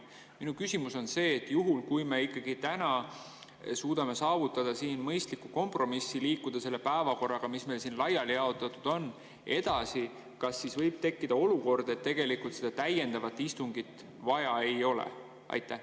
Minu küsimus on see: juhul kui me ikkagi täna suudame saavutada siin mõistliku kompromissi, liikuda selle päevakorraga, mis meile laiali jaotatud on, edasi, kas siis võib tekkida olukord, et tegelikult seda täiendavat istungit vaja ei ole?